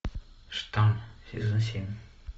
штамм сезон семь